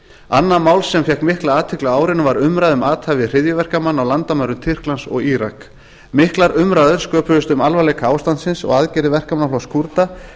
annað mál sem fékk mikla athygli á árinu var umræða um athæfi hryðjuverkamanna á landamærum tyrklands og írak miklar umræður sköpuðust um alvarleika ástandsins og aðgerðir verkamannaflokks kúrda